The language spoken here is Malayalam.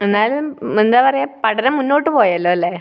എന്നാലും എന്താ പറയുക, പഠനം മുന്നോട്ടു പോയല്ലോ അല്ലേ?